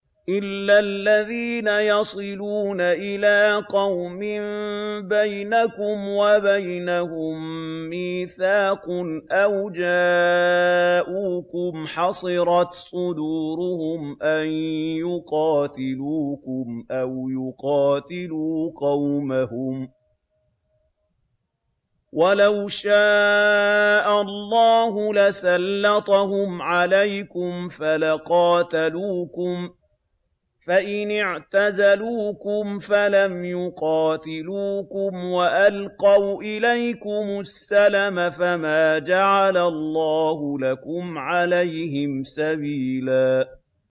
إِلَّا الَّذِينَ يَصِلُونَ إِلَىٰ قَوْمٍ بَيْنَكُمْ وَبَيْنَهُم مِّيثَاقٌ أَوْ جَاءُوكُمْ حَصِرَتْ صُدُورُهُمْ أَن يُقَاتِلُوكُمْ أَوْ يُقَاتِلُوا قَوْمَهُمْ ۚ وَلَوْ شَاءَ اللَّهُ لَسَلَّطَهُمْ عَلَيْكُمْ فَلَقَاتَلُوكُمْ ۚ فَإِنِ اعْتَزَلُوكُمْ فَلَمْ يُقَاتِلُوكُمْ وَأَلْقَوْا إِلَيْكُمُ السَّلَمَ فَمَا جَعَلَ اللَّهُ لَكُمْ عَلَيْهِمْ سَبِيلًا